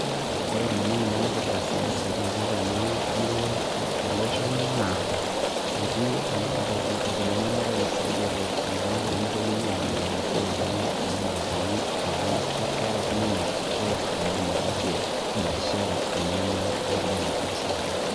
Ore lemon oipirta siasa taata tenamurua e tolosho lang' naa, etii lo rais lojito pemitokini ajing'aki esiai enye omatatuni, amu keeta sinye right naidim ataase biashara enye neidim atasaru.